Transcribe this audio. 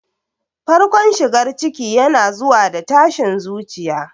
Farkon shigar ciki yana zuwa da tashin zuciya.